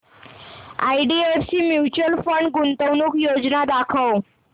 IDFC mutual fund गुंतवणूक योजना दाखव